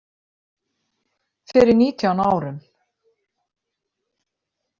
Fyrir nítján árum.